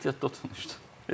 Yox, ehtiyatda oturmuşdu.